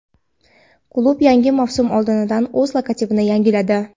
Klub yangi mavsum oldidan o‘z logotipini yangiladi.